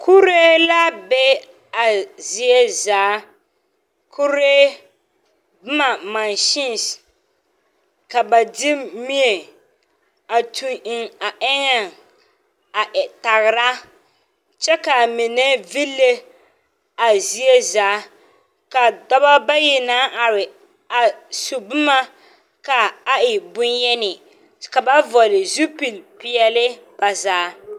Kuree la be a zie zaa, kuree boma mansinse ka ba de mie a toŋ eŋ a eŋɛŋ a tagera kyɛ a mine ville a zie zaa ka dɔbɔ bayi naŋ are a su boma ka a e boŋyeni ka ba vɔgela zupili peɛle ba zaa.